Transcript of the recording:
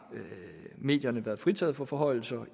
medierne været fritaget for forhøjelser